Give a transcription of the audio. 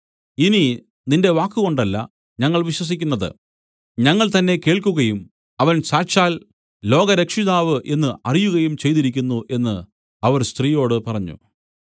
ഇനി നിന്റെ വാക്കുകൊണ്ടല്ല ഞങ്ങൾ വിശ്വസിക്കുന്നത് ഞങ്ങൾ തന്നേ കേൾക്കുകയും അവൻ സാക്ഷാൽ ലോകരക്ഷിതാവ് എന്നു അറിയുകയും ചെയ്തിരിക്കുന്നു എന്ന് അവർ സ്ത്രീയോട് പറഞ്ഞു